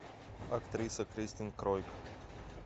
актриса кристин кройк